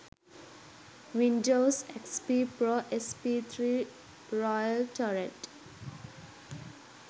windows xp pro sp3 royale torrent